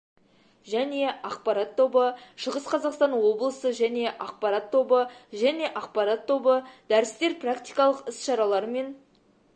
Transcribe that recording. және ақпарат тобы шығыс қазақстан облысы және ақпарат тобы және ақпарат тобы дәрістер практикалық іс-шаралар мен